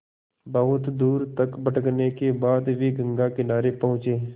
बहुत दूर तक भटकने के बाद वे गंगा किनारे पहुँचे